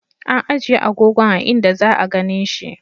An ijiye agogon a'inda za'a ganin shi.